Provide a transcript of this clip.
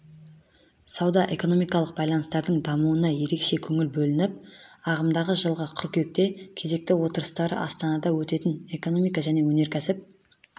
сауда-экономикалық байланыстардың дамуына ерекше көңіл бөлініп ағымдағы жылғы қыркүйекте кезекті отырыстары астанада өтетін экономика және өнеркәсіп